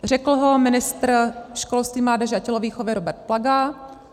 Řekl ho ministr školství, mládeže a tělovýchovy Robert Plaga.